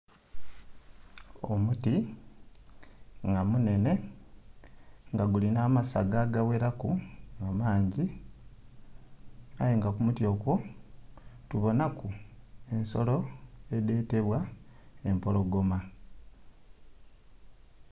Omuti nga munene nga gulina amasaga agagheraku nga mangi, aye nga ku muti okwo tubonhaku ensolo edhetebwa empologoma.